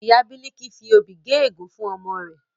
Ìyá Biliki fi obì gé ègún fún ọmọ rẹ̀